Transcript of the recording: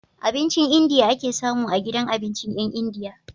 Abincin India ake samu a gidan abincin yan india